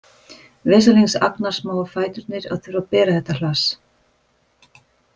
Vesalings agnarsmáu fæturnir að þurfa að bera þetta hlass